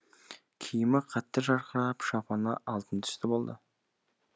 киімі қатты жарқырап шапаны алтын түсті болды